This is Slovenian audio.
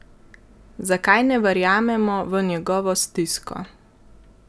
Zakaj ne verjamemo v njegovo stisko?